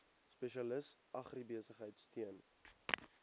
spesialis agribesigheid steun